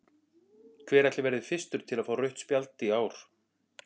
Hver ætli verði fyrstur til að fá rautt spjald í ár?